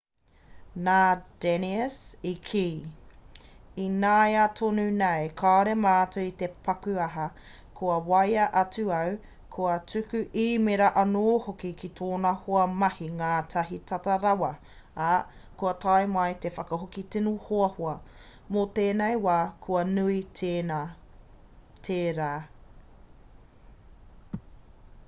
nā danius i kī ināiatonunei kāore mātou i te paku aha kua waea atu au kua tuku īmēra anō hoki ki tōna hoa mahi ngātahi tata rawa ā kua tae mai he whakahoki tino hoahoa mō tēnei wā kua nui tērā